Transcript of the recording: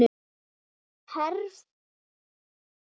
Hverfur ekki.